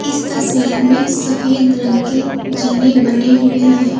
इस तस्वीर में सफेद रंग के जीने बने हुए हैं।